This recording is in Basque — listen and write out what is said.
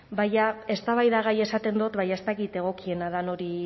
baina eztabaidagai esaten dut baina ez dakit egokiena dan hori